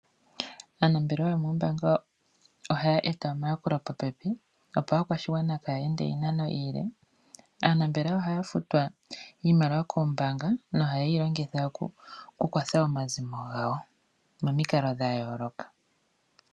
Aanambelewayo moombanga oha ya eta omayakulo popepi opo aakwashigwana kaya ende oondjila oonde. Aanambelewa ohaya futwa iimaliwa koombaanga nohayeyi longitha okukwatha omazimo gawo mikalo dha yooloka.